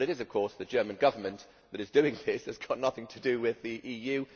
It is, however, the German Government that is doing this it has nothing to do with the EU.